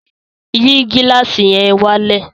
Yìí gílàsì yẹn wálẹ̀!